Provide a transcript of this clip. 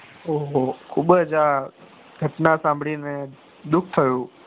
ઓહ હો ખુબ ઘટના સાંભળી ને દુઃખ થયું પણ